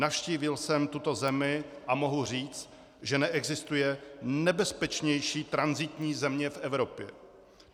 Navštívil jsem tuto zemi a mohu říct, že neexistuje nebezpečnější tranzitní země v Evropě.